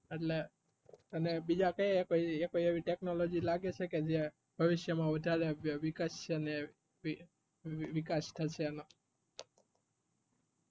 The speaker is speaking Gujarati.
એટલે બીજા તમને બીજા કઈ એવી technology લાગે છે કે જે ભવિષ્ય માં વધારે વિકશષે એની વિકાશ થશે એમાં